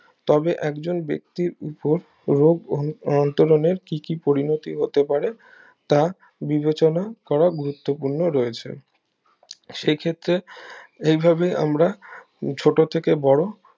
তবে একজন ব্যাক্তির উপর রোগ অন্তরণের কি কি পরিণতি হতে পারে তা বিবেচনা করা গুরুত্বপূর্ণ রয়েছে সে ক্ষেত্রে এভাবে আমরা ছোট থেকে বড়ো